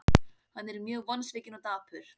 Hann er mjög vonsvikinn og dapur.